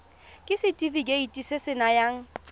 ke setefikeiti se se nayang